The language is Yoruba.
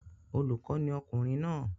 Olùkọ́ ni ọkùnrin náà